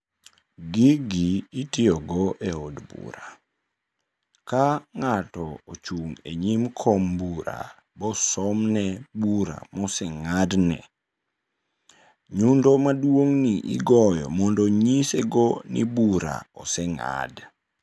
Gigi itiyogo e od bura, ka ng'ato ochung' e nyim kom bura, ibosomne bura moseng'adne. Nyundo maduong'ni igoyo mondo onyise go ni bura oseng'ad.